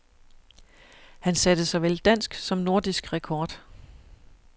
Han satte såvel dansk som nordisk rekord.